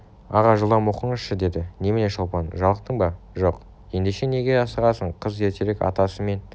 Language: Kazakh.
аға жылдам оқыңызшы деді немене шолпан жалықтың ба жоқ ендеше неге асығасың қыз ертерек атасы мен